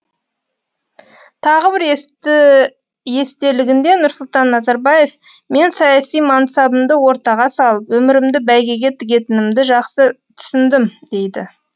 тағы бір естелігінде нұрсұлтан назарбаев мен саяси мансабымды ортаға салып өмірімді бәйгеге тігетінімді жақсы түсіндім дейді